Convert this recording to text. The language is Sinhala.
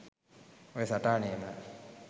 ඔය සටහනේම